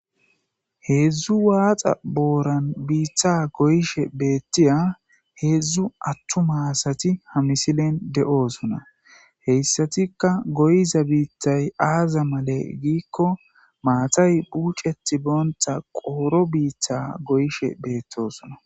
Heedzdzu waaxa booran biiththa goyishe beettiya heedzdzu attu maasati ha misilen de'oosona heyssatikka goyiza biittay aaza male giikko maatay puuceti boonta qooro biitha goyishe beettosona.